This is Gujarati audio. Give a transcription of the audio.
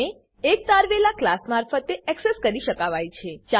તેને એક તારવેલા ક્લાસ મારફતે એક્સેસ કરી શકાવાય છે